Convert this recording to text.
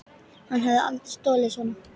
Hann hefði aldrei stolið svona.